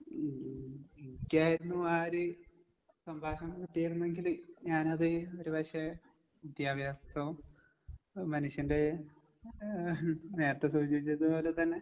ഉം എനിക്കായിരുന്നു ആ ഒര് സംഭാഷണം കിട്ടിയിരുന്നെങ്കില് ഞാനത് ഒരുപക്ഷെ വിദ്യാഭ്യാസത്തോ എഹ് മനുഷ്യന്റെ ഏഹ് നേരത്തെ സൂചിപ്പിച്ചത് പോലെ തന്നെ